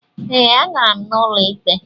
Ee, agara m ụlọ ikpe.